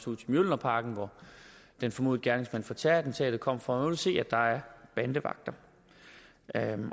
ud til mjølnerparken hvor den formodede gerningsmand fra terrorattentatet kom fra og man se at der er bandevagter